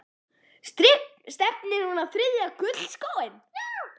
Stefnir hún á þriðja gullskóinn?